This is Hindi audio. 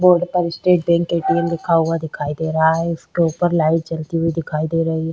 बोर्ड पर State Bank A T M लिखा दिखाई दे रहा है उसके ऊपर लाइट जलती हुई दिखाई दे रही है।